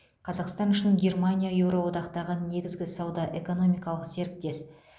қазақстан үшін германия еуроодақтағы негізгі сауда экономикалық серіктес